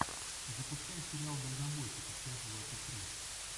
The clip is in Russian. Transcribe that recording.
запускай сериал дальнобойщики часть двадцать три